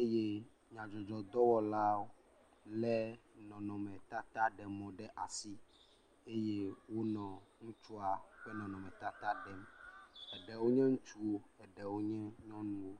eye nyadzɔdzɔdɔwɔlawo le nɔnɔme tata ɖe mɔ ɖe asi eye wonɔ ŋutsu ƒe nɔnɔme tata ɖem. Ɖewo nye ŋutsuwo, ɖewo nye nyɔnuwo.